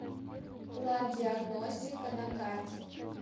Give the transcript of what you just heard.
лабдиагностика на карте